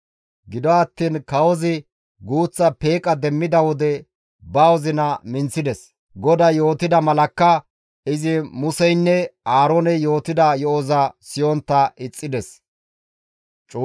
Gido attiin kawozi guuththa peeqa demmida wode ba wozina minththides; GODAY yootida malakka izi Museynne Aarooney yootida yo7oza siyontta ixxides.